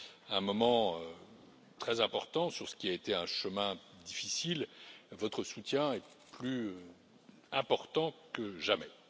À un moment très important sur ce qui a été un chemin difficile, votre soutien est plus important que jamais.